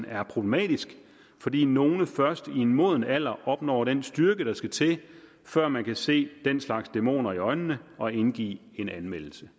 er problematisk fordi nogle først i en moden alder opnår den styrke der skal til før man kan se den slags dæmoner i øjnene og indgive en anmeldelse